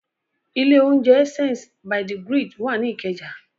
Ilé-oúnjẹ Essence by the Grid wà ní Ìkẹjà.